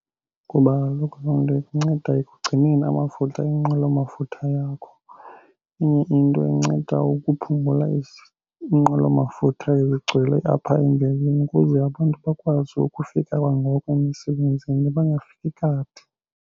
Kuba kaloku loo nto ikunceda ekugcineni amafutha enqwelomafutha yakho. Enye into inceda ukuphungula inqwelomafutha igcwele apha ukuze abantu bakwazi ukufika kwangoko emisebenzini bangafiki kade.